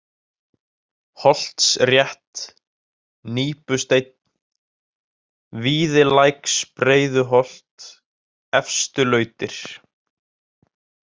Holtsrétt, Nípusteinn, Víðilæksbreiðuholt, Efstulautir